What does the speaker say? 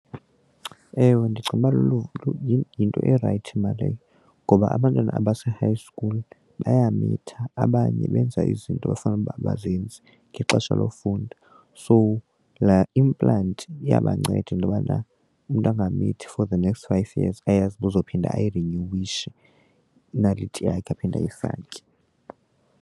Ewe, ndicinga ukuba yinto erayithi mna leyo ngoba abantwana abase-high school bayamitha abanye benza izinto ekufanele uba abazenzi ngexesha lofunda. So laa implant iyabanceda into yobana umntu angamithi for the next five years ayazi uba uzophinda ayirinyuwishe inaliti aphinde ayifake.